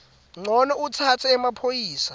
ncono utsatse emaphoyisa